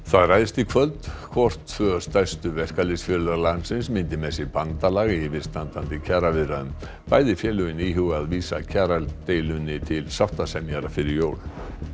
það ræðst í kvöld hvort tvö stærstu verkalýðsfélög landsins myndi með sér bandalag í yfirstandandi kjaraviðræðum bæði félögin íhuga að vísa kjaradeilunni til sáttasemjara fyrir jól